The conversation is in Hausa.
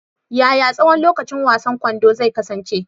Yaya tsawon lokacin wasan kwando zai kasance?